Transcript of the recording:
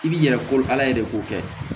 I b'i yɛrɛ kolo ala ye de k'o kɛ